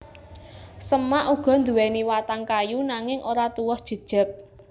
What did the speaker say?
Semak uga nduwèni watang kayu nanging ora tuwuh jejeg